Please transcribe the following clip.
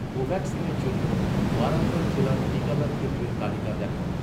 কোভাক্সিনের জন্য, ওয়ারঙ্গল জেলার টিকাদান কেন্দ্রের তালিকা দেখান